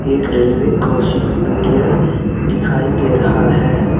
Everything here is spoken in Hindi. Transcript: एक रेलवे क्रॉसिंग बैरियर दिखाई दे रहा है।